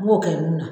N b'o kɛ mun na